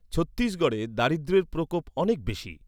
ছত্তিশগড়ে দারিদ্র্যের প্রকোপ অনেক বেশি।